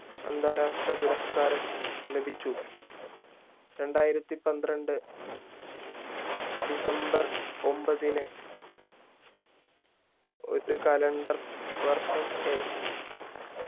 അന്താരാഷ്ട്ര പുരസ്‌കാരം ലഭിച്ച രണ്ടായിരത്തി പന്ത്രണ്ട് december ഒമ്പതിന് ഒരു calender